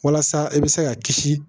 Walasa i bɛ se ka kisi